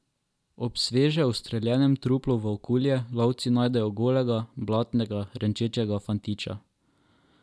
Ob sveže ustreljenem truplu volkulje lovci najdejo golega, blatnega, renčečega fantiča.